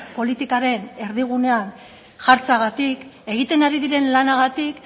politikaren erdigunean jartzeagatik egiten ari diren lanagatik